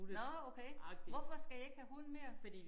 Nåh okay hvorfor skal I ikke have hund mere?